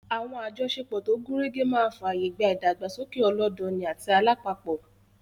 Àwọn àjọṣepọ̀ tó gúnrégé máa fààyè gba ìdàgbàsókè ọlọ́dọni àti alápapọ̀